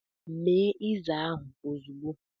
Mee ịza ahụ ozugbo!